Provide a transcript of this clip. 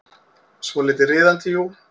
Svolítið riðandi, jú.